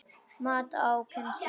Mat á kennslu í listum